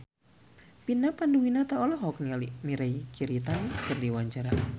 Vina Panduwinata olohok ningali Mirei Kiritani keur diwawancara